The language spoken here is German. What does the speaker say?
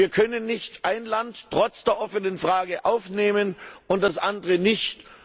Wir können nicht ein Land trotz der offenen Frage aufnehmen und das andere nicht.